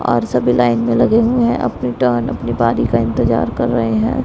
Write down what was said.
और सभी लाइन में लगे हुए है अपनी टर्न अपनी बारी का इंतजार कर रहे है।